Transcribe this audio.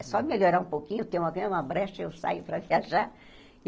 É só melhorar um pouquinho, tem uma brecha eu saio para viajar.